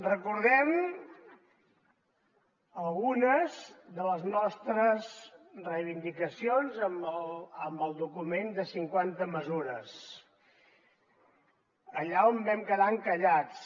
recordem algunes de les nostres reivindicacions amb el document de cinquanta mesures allà on vam quedar encallats